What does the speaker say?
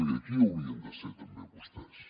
i aquí hi haurien de ser també vostès